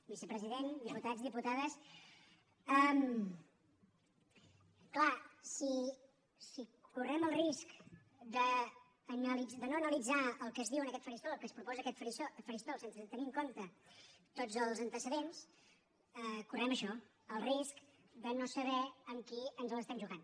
vicepresident diputats diputades clar si correm el risc de no analitzar el que es diu en aquest faristol el que es proposa en aquest faristol sense tenir en compte tots els antecedents correm això el risc de no saber amb qui ens l’estem jugant